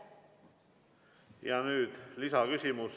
Ja nüüd lisaküsimus.